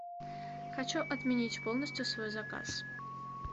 хочу отменить полностью свой заказ